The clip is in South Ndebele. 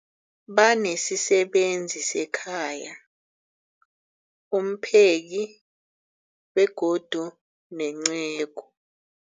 Banesisebenzi sekhaya, umpheki, begodu nenceku.